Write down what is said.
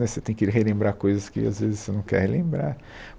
Né você tem que relembrar coisas que, às vezes, você não quer relembrar.